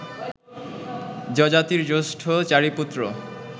যযাতির জ্যেষ্ঠ চারি পুত্র